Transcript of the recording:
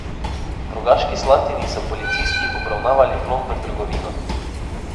V Rogaški Slatini so policisti obravnavali vlom v trgovino.